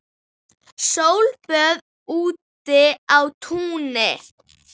Sólböð úti á túni.